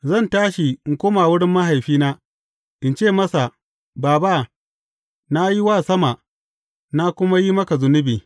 Zan tashi in koma wurin mahaifina, in ce masa, Baba, na yi wa sama, na kuma yi maka zunubi.